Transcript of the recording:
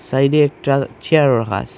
সাইডে একটা চেয়ার রাখা আস--